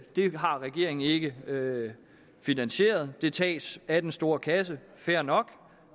har regeringen ikke finansieret det tages af den store kasse fair nok